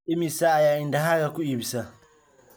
imise ayaa idahaaga ku iibisa